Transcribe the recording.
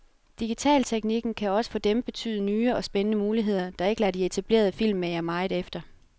Digitalteknikken kan også for dem betyde nye og spændende muligheder, der ikke lader de etablerede filmmagere meget efter.